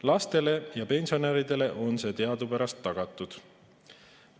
Lastele ja pensionäridele on see teadupärast tagatud.